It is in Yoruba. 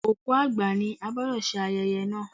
Òkú àgbà ni, a gbọ́dọ̀ ṣe ayẹyẹ náà.